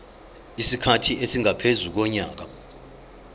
isikhathi esingaphezu konyaka